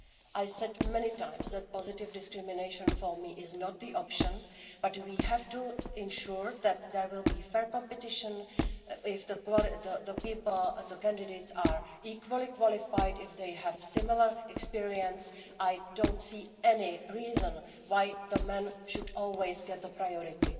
I said many times that positive discrimination for me is not the option, but we have to ensure that there will be fair competition if the candidates are equally qualified, if they have similar experience, I don't see any reason why men should always get priority.